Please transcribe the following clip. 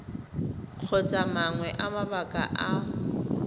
kgotsa mangwe a mabaka a